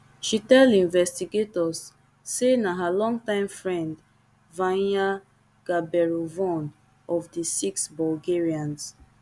she tell investigators say na her longtime friend vanya gaberovaone of di six bulgarians